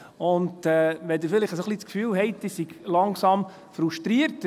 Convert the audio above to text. Wenn Sie vielleicht ein wenig das Gefühl haben, ich sei langsam etwas frustriert ...